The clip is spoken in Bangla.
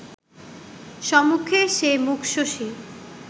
সমুখে সে মুখ-শশী